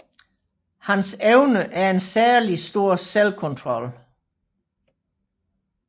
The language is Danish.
Hans evne er en særlig stor selvkontrol